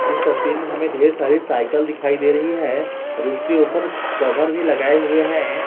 इस तस्वीर में हमें ढेर सारी साइकल दिखाई दे रही है और उसके ऊपर कवर भी लगाए हुए हैं।